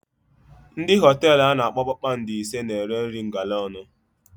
Ndị hotelu ana akpọ kpakpando ise na-ere nri ngalaónu.